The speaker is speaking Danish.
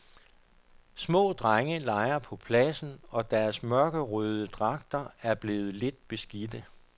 Små drenge leger på pladsen og deres mørkerøde dragter er blevet lidt beskidte.